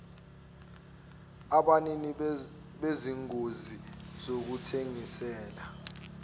abanini bezingosi zokuthengisela